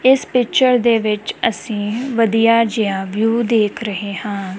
ਇਸ ਪਿਚਰ ਦੇ ਵਿੱਚ ਅਸੀਂ ਵਧੀਆ ਜਿਹਾ ਵਿਊ ਦੇਖ ਰਹੇ ਹਾਂ।